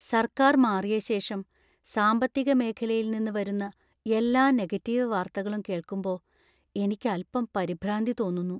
സർക്കാർ മാറിയ ശേഷം സാമ്പത്തിക മേഖലയിൽ നിന്ന് വരുന്ന എല്ലാ നെഗറ്റീവ് വാർത്തകളും കേൾക്കുമ്പോ എനിക്ക് അൽപ്പം പരിഭ്രാന്തി തോന്നുന്നു.